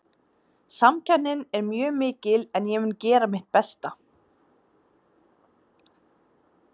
Samkeppnin er mjög mikil en ég mun gera mitt besta.